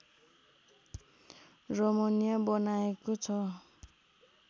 रमणीय बनाएको छ